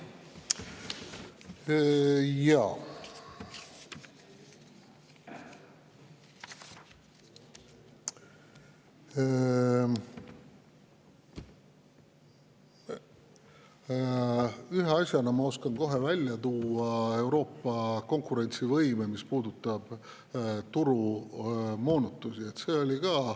Ühe asjana, mis puudutab Euroopa konkurentsivõimet, ma oskan kohe välja tuua turumoonutused.